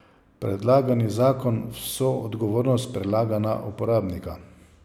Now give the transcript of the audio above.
Predlagani zakon vso odgovornost prelaga na uporabnika.